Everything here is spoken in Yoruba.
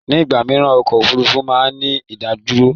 Ní ìgbà mìíràn ọkọ̀ Òfurufú máa ń ní ìdádúró.